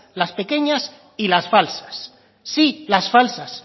las pequeñas y las falsas sí las falsas